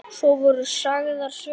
Svo voru sagðar sögur.